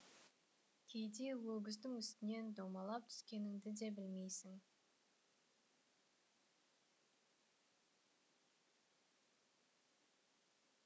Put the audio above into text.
кейде өгіздің үстінен домалап түскеніңді де білмейсің